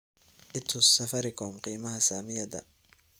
i tus safaricom qiimaha saamiyada